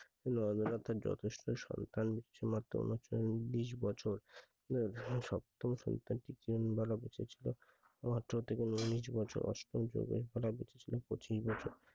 যথেষ্ট সন্তান ইচ্ছে মতো বিশ বছর সপ্তম সন্তানটিকে আঠারো থেকে উনিশ বছর অষ্টম থেকে পঁচিশ বছর